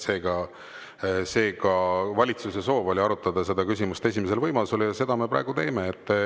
Seega, valitsuse soov oli arutada küsimust esimesel võimalusel ja seda me praegu teeme.